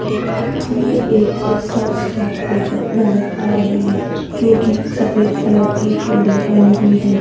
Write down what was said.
ये एक guest house की फोटो नजर आ रही है जो की सफेद कलर की बिल्डिंग बनी हुई है।